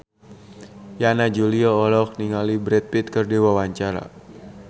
Yana Julio olohok ningali Brad Pitt keur diwawancara